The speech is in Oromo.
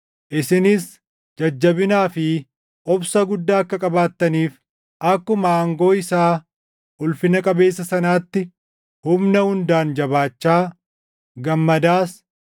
isinis jajjabinaa fi obsa guddaa akka qabaattaniif, akkuma aangoo isaa ulfina qabeessa sanaatti humna hundaan jabaachaa, gammadaas